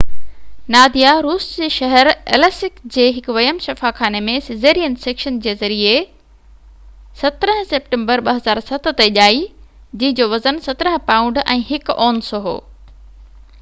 ناديا روس جي شهر ايليسڪ جي هڪ ويم شفاخاني ۾ سيزرين سيڪشن جي جي ذريعي 17 سيپٽمبر 2007 تي ڄائي جنهن جو وزن 17 پائونڊ ۽ 1 اونس هو